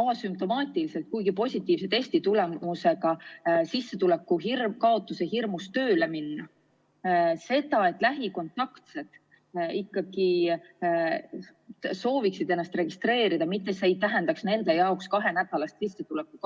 asümptomaatiliselt, kuid positiivse testitulemuse saanuna sissetuleku kaotuse hirmus tööle minna, ning et lähikontaktsed sooviksid ennast registreerida, ilma et see tähendaks nende jaoks kahenädalast sissetuleku kaotust.